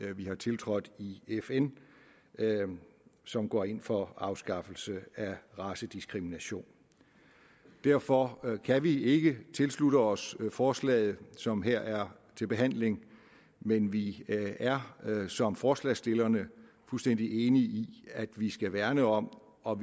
vi har tiltrådt i fn som går ind for afskaffelse af racediskrimination derfor kan vi ikke tilslutte os forslaget som her er til behandling men vi er som forslagsstillerne fuldstændig enige i at vi skal værne om og